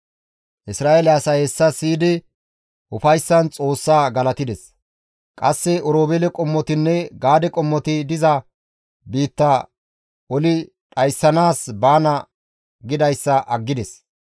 Isra7eele asay hessa siyidi ufayssan Xoossa galatides. Qasse Oroobeele qommotinne Gaade qommoti diza biitta oli dhayssanaas baana gidayssa aggides.